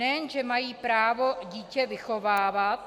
Nejen že mají právo dítě vychovávat...